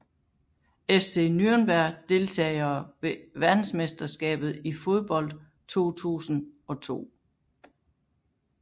FC Nürnberg Deltagere ved verdensmesterskabet i fodbold 2002